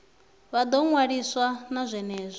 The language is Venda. vha ḓo ṅwaliswa na zwenezwo